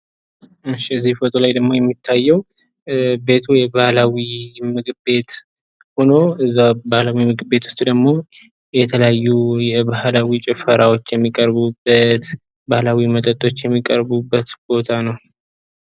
እሺ እዚ ፎቶ ላይ ደግሞ የሚታየው ቤቱ የባህላዊ ምግብ ቤት ሆኖ እዛው ባህላዊ ምግብ ቤት ደግሞ የተለያዩ የባህላዊ ጭፈራዎች የሚቀርቡበት፣ ባህላዊ መጠጦች የሚቀርቡበት ቦታ ነው።